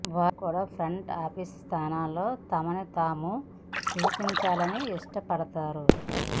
వారు కూడా front office స్థానాల్లో తమని తాము చొప్పించాలని ఇష్టపడతారు